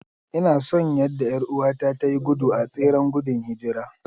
Ina son yadda 'yar'uwata ta yi gudu a tseren gudun hijira.